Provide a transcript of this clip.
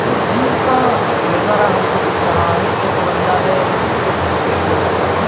ये जिम का नज़ारा हमको दिख रहा है एक बंदा है वो फोटो क्लिक कर रहा है।